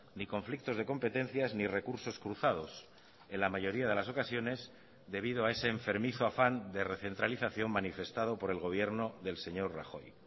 ni conflictos de competencias ni recursos cruzados en la mayoría de las ocasiones debido a ese enfermizo afán de recentralización manifestado por el gobierno del señor rajoy